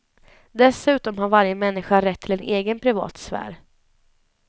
Dessutom har varje människa rätt till en egen privat sfär.